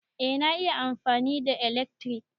Eh na iya amfani da ilekri.